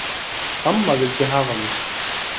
Amma vildi hafa mig.